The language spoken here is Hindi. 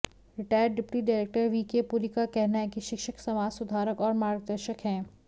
retired deputy director VK Puri का कहना है कि शिक्षक समाज सुधारक और मार्गदर्शक हैं